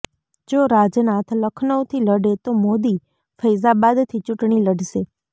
જો રાજનાથ લખનૌથી લડે તો મોદી ફૈઝાબાદથી ચૂંટણી લડશે